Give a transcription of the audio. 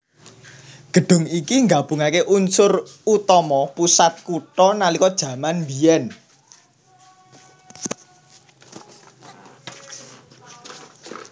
Gedhung iki nggabungaké unsur utama pusat kutha nalika jaman mbiyen